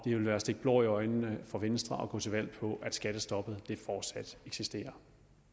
vil være at stikke blår i øjnene på venstre går til valg på at skattestoppet fortsat eksisterer